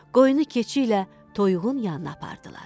Qoyunu keçi ilə toyuğun yanına apardılar.